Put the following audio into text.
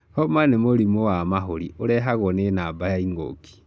Homa nĩ mũrimũ wa mahũri ũrehagwo nĩ namba ya ingũki.